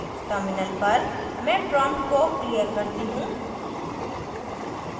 terminal पर मैं prompt को clear करती हूँ